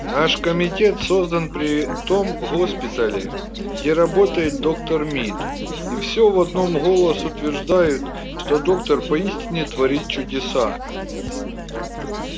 наш комитет создан при том госпитале где работает доктор мид и всё в одном голос утверждают что доктор поистине творит чудеса